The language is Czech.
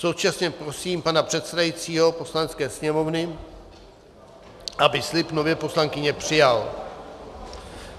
Současně prosím pana předsedajícího Poslanecké sněmovny, aby slib nové poslankyně přijal.